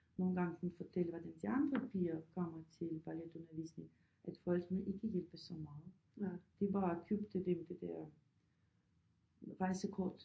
Nogle gange hun fortæller hvordan de andre piger kommer til balletundervisning at forældrene ikke hjælper så meget de bare købte dem det der Rejsekort